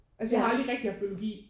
Altså jeg har aldrig rigtig haft biologi